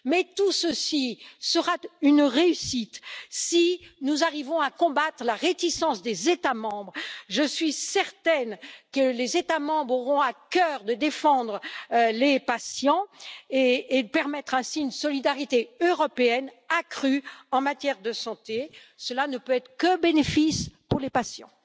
Tout ceci sera une réussite, si nous arrivons à combattre la réticence des États membres. Je suis certaine que ceux ci auront à cœur de défendre les patients et de permettre ainsi une solidarité européenne accrue en matière de santé cela ne peut être que bénéfique pour les patients.